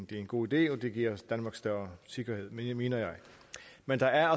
det er en god idé og det giver danmark større sikkerhed mener jeg men der er